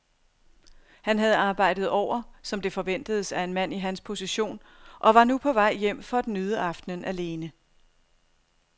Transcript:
Han havde arbejdet over, som det forventedes af en mand i hans position, og var nu på vej hjem for at nyde aftenen alene.